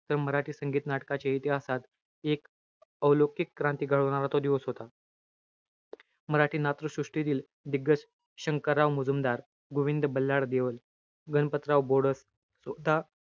तर मराठी संगीत-नाटकाच्या इतिहासात, एक अवलोकिक क्रांती घडवणारा तो दिवस होता. मराठी नाट्य सृष्टीतील, दिग्गज शंकरराव मुजुमदार, गोविंद बल्लाळ देवल, गणपतराव बोडस, स्वतः,